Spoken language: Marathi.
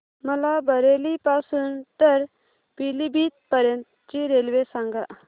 मला बरेली पासून तर पीलीभीत पर्यंत ची रेल्वे सांगा